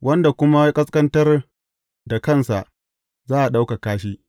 Wanda kuma ya ƙasƙantar da kansa, za a ɗaukaka shi.